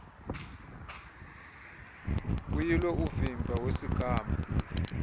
kuyilwe uvimba wesigama